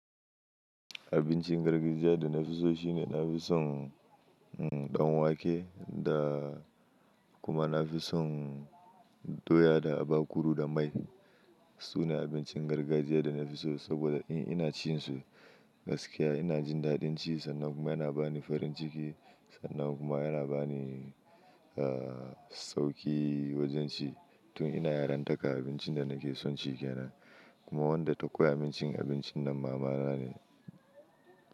Abincin gargajiya da na fi so shine na fi son ɗanwake da kuma na fi son doya da abakuru da mai. Su ne abincin gargajiya da na fi so saboda ina ci su gaskiya. Ina jin daɗin ci sannan kuma yana bani farin ciki sannan kuma yana bani sauƙi wajen ci. Tun ina yaran taka abincin da nake son ci ke nan. Kuma wanda tokka abincin, abincin na mama na ne.